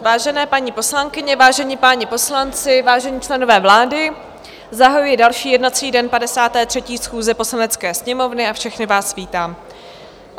Vážené paní poslankyně, vážení páni poslanci, vážení členové vlády, zahajuji další jednací den 53. schůze Poslanecké sněmovny a všechny vás vítám.